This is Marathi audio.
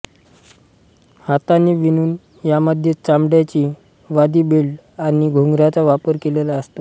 हाताने विणून यामध्ये चामड्याची वादी बेल्ट आणि घुंगरांचा वापर केलेला असतो